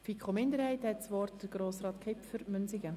Für die FiKo-Minderheit hat Grossrat Kipfer das Wort.